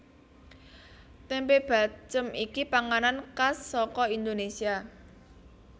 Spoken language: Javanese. Tempe bacem iki panganan khas saka Indonesia